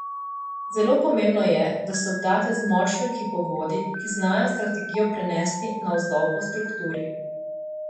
Zelo pomembno je, da se obdate z močno ekipo vodij, ki znajo strategijo prenesti navzdol po strukturi.